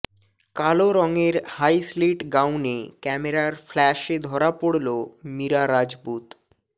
কালো রঙের high slit গাউনে ক্যামেরার ফ্ল্যাশে ধরা পড়ন মীরা রাজপুত